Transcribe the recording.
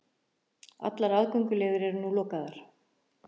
Allar aðgönguleiðir eru núna lokaðar